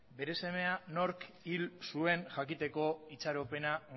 bere semeak nork hil zuen jakiteko itxaropena